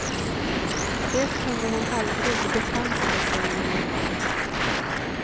Det kunde hon aldrig bepansra sig emot.